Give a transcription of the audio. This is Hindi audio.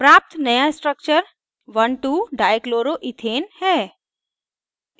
प्राप्त नया structure 12dichloroethane है